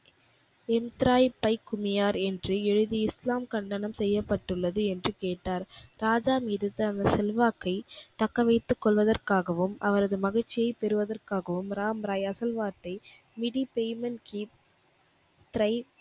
என்று எழுதி இஸ்லாம் கண்டனம் செய்யப்பட்டுள்ளது என்று கேட்டார். ராஜா மீது தமது செல்வாக்கை தக்கவைத்துக் கொள்வதற்காகவும், அவரது மகிழ்ச்சியைப் பெறுவதற்காகவும் ராமராய் அகழ்வார்த்தை